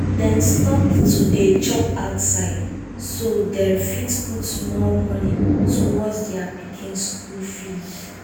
dem stop to dey chop outside so dem fit put more money towards their pikin school fees.